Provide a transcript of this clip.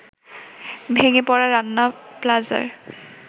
ভেঙে পড়া রানা প্লাজার